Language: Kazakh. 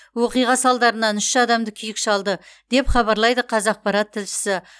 оқиға салдарынан үш адамды күйік шалды деп хабарлайды қазақпарат тілшісі